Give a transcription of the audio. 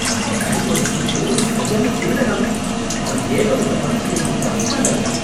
அந்த பேங்கோட சிஇஓ ஒரு சரியான திருடனாமே, அவன் ஏகப்பட்ட பணத்தை எடுத்துகிட்டு அப்ஸ்காண்டாயிட்டான்